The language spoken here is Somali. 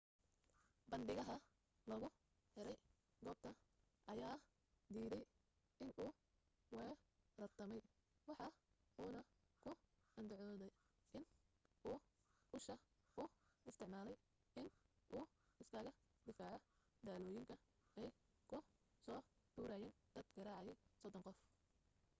bandhigaha lagu xiray goobta ayaa diiday inuu weerartamay waxa uuna ku andacoode in uu usha u isticmaalaye in uu iskaga difaaco dhalooyinka ay kusoo tuurayen dad gaaraya sodon qof